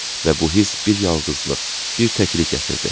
Və bu hiss bir yalqızlıq, bir təklik gətirdi.